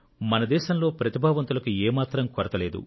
మన దేశంలో ప్రతిభావంతులకు ఏ మాత్రం కొరత లేదు